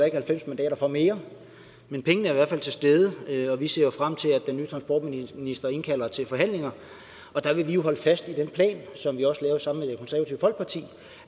ikke halvfems mandater for mere men pengene er i hvert fald til stede og vi ser frem til at den nye transportminister indkalder til forhandlinger og der vil vi holde fast i den plan som vi også